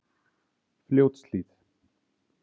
Fljótshlíð